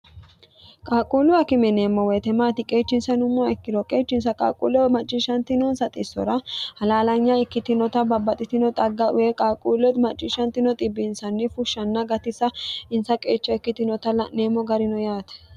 qaaqquullu akime yineemmo woyite maati qeechinsa yinummoha ikkiro qeechinsa qaaqquulleho macciishshantinoonsa xissora halaalanya ikkitinota babbaxitino xagga ee qaaquullo macciishshantino xibbinsanni fushshanna gatisa insa qeecha ikkitinota la'neemmo garino yaate